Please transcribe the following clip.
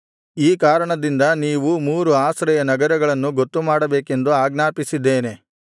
ಈ ಕಾರಣದಿಂದ ನೀವು ಮೂರು ಆಶ್ರಯ ನಗರಗಳನ್ನು ಗೊತ್ತುಮಾಡಬೇಕೆಂದು ಆಜ್ಞಾಪಿಸಿದ್ದೇನೆ